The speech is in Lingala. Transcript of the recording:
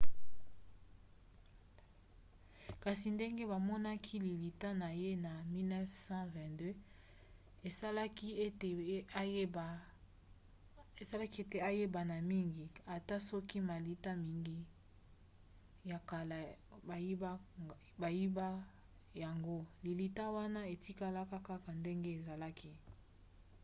kasi ndenge bamonaki lilita na ye na 1922 esalaki ete ayebana mingi. ata soki malita mingi ya kala bayiba yango lilita wana etikala kaka ndenge ezalaki